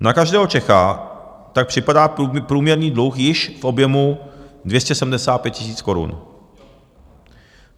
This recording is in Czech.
Na každého Čecha tak připadá průměrný dluh již v objemu 275 000 korun.